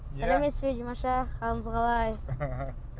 сәлеметсіз бе димаш аға қалыңыз қалай